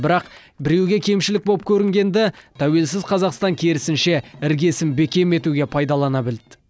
бірақ біреуге кемшілік болып көрінгенді тәуелсіз қазақстан керісінше іргесін бекем етуге пайдалана білді